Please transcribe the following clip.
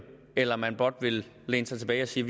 eller man blot vil læne sig tilbage og sige